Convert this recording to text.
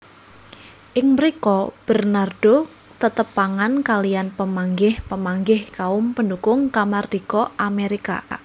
Ing mrika Bernardo tetepangan kaliyan pamanggih pamanggih kaum pendukung kamardika Amerika